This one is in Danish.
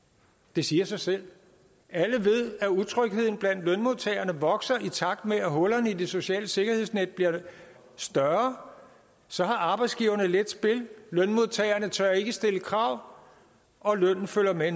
det siger sig selv alle ved at utrygheden blandt lønmodtagerne vokser i takt med at hullerne i det sociale sikkerhedsnet bliver større så har arbejdsgiverne let spil lønmodtagerne tør ikke stille krav og lønnen følger med